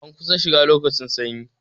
An kusan shiga lokacin sanyi